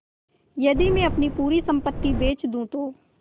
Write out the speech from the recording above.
यदि मैं अपनी पूरी सम्पति बेच दूँ तो